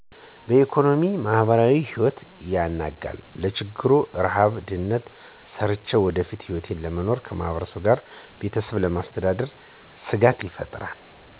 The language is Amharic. የኢኮኖሚ፣ ማህበራዊ ህይወት ያናጋል። ለችግር፣ ርሀብ ድህነት ሰርቸ የወደፊት ህይወቴን ለመኖር ከማህበረሰቡ ጋር ወይም ቤተሰብ ለማስተዳደር ስጋት ይፈጥራል።